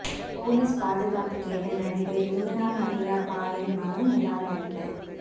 police பாதுகாப்பு கேட்ட நடிகை லீனா மரியா பாலின் மனு நிராகரிப்பு